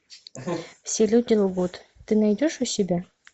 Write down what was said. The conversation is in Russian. все люди лгут ты найдешь у себя